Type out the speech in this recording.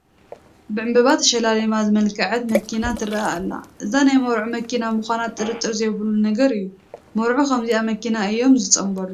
ብዕምባባ ተሸላሊማ ዝመልክዐት መኪና ትርአ ኣላ፡፡ እዛ ናይ መርዑ መኪና ምዃና ጥርጥር ዘይብሉ ነገር እዩ፡፡ መርዑ ብከምዚአ መኪና እዮም ዝፅምበሉ፡፡